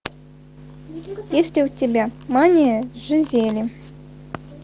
есть ли у тебя мания жизели